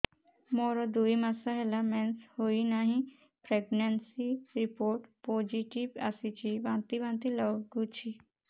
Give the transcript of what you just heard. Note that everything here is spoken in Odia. ମୋର ଦୁଇ ମାସ ହେଲା ମେନ୍ସେସ ହୋଇନାହିଁ ପ୍ରେଗନେନସି ରିପୋର୍ଟ ପୋସିଟିଭ ଆସିଛି ବାନ୍ତି ବାନ୍ତି ଲଗୁଛି